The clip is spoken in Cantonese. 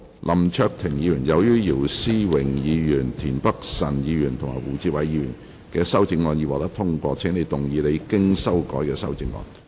林卓廷議員，由於姚思榮議員、田北辰議員及胡志偉議員的修正案已獲得通過，請動議你經修改的修正案。